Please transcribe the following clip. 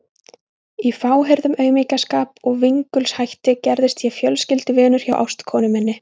Í fáheyrðum aumingjaskap og vingulshætti gerðist ég fjölskylduvinur hjá ástkonu minni.